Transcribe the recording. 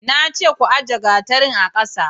na ce ku ajiye gatarin a ƙasa